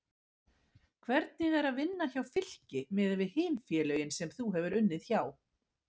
Hvernig er að vinna hjá Fylki miðað við hin félögin sem þú hefur unnið hjá?